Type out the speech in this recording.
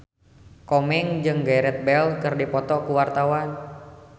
Komeng jeung Gareth Bale keur dipoto ku wartawan